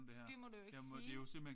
Det må du jo ikke sige